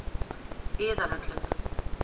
Iðavöllum